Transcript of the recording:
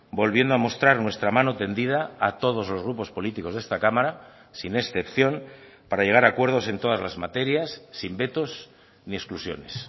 volviendo a mostrar nuestra mano tendida a todos los grupos políticos de esta cámara sin excepción para llegar a acuerdos en todas las materias sin vetos ni exclusiones